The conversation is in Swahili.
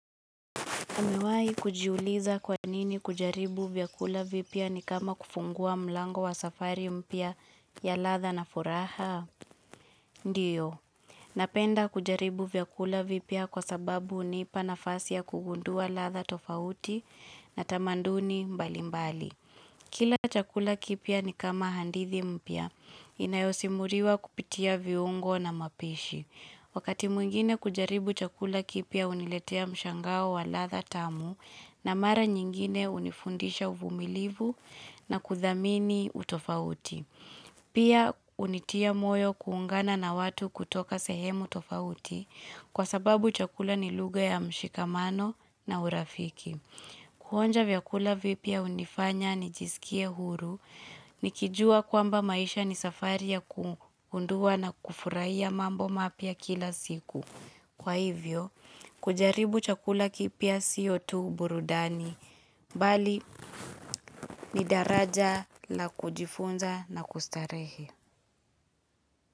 Umewahi kujiuliza kwa nini kujaribu vyakula vipya ni kama kufungua mlango wa safari mpya ya ladha na furaha? Ndiyo. Napenda kujaribu vyakula vipya kwa sababu hunipa nafasi ya kugundua ladha tofauti na tamanduni mbali mbali. Kila chakula kipya ni kama hadithi mpya. Inayosimuliwa kupitia viungo na mapishi. Wakati mwingine kujaribu chakula kipya huniletea mshangao wa ladha tamu na mara nyingine hunifundisha uvumilivu na kuthamini utofauti. Pia hunitia moyo kuungana na watu kutoka sehemu tofauti kwa sababu chakula ni lugha ya mshikamano na urafiki. Kuonja vyakula vipya hunifanya nijisikie huru, nikijua kwamba maisha ni safari ya kugundua na kufurahia mambo mapya kila siku. Kwa hivyo, kujaribu chakula kipya sio tu burudani, bali ni daraja la kujifunza na kustarehe.